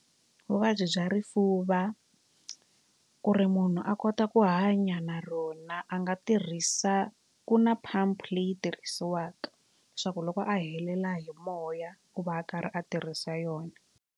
Vuvabyi bya rifuva ku ri munhu a kota ku hanya na rona a nga tirhisa ku na pump leyi tirhisiwaka leswaku loko a helela hi moya u va a karhi a tirhisa yona.